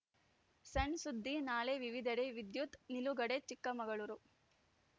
ಸಣ್‌ ಸುದ್ದಿ ನಾಳೆ ವಿವಿಧೆಡೆ ವಿದ್ಯುತ್‌ ನಿಲುಗಡೆ ಚಿಕ್ಕಮಗಳೂರು